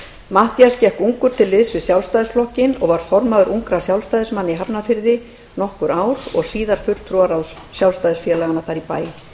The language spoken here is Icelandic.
matthías gekk ungur til liðs við sjálfstæðisflokkinn var formaður ungra sjálfstæðismanna í hafnarfirði um nokkur ár og síðar fulltrúaráðs sjálfstæðisfélaganna þar í bæ